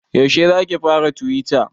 Yaushe zaki fara tuwita?